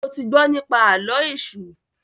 ṣe o tí gbó nipa Àló̩ Èṣù?